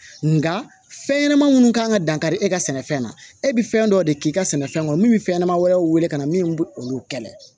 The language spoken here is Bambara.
Nka fɛn ɲɛnɛman munnu kan ka dankari e ka sɛnɛfɛn na e bɛ fɛn dɔ de k'i ka sɛnɛfɛn kɔnɔ min bɛ fɛn ɲɛnama wɛrɛw wele ka na min bɛ olu kɛlɛ